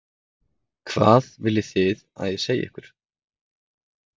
Hvað viljið þið að ég segi ykkur?